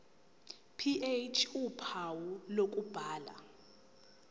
ph uphawu lokubhala